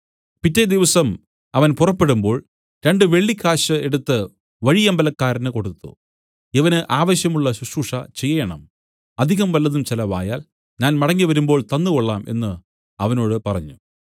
പിറ്റെ ദിവസം അവൻ പുറപ്പെടുമ്പോൾ രണ്ടു വെള്ളിക്കാശ് എടുത്തു വഴിയമ്പലക്കാരന് കൊടുത്തു ഇവന് ആവശ്യമുള്ള ശുശ്രൂഷ ചെയ്യേണം അധികം വല്ലതും ചെലവായാൽ ഞാൻ മടങ്ങിവരുമ്പോൾ തന്നു കൊള്ളാം എന്നു അവനോട് പറഞ്ഞു